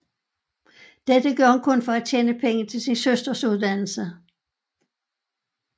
Dette gør hun for at kunne tjene penge til sin søsters uddannelse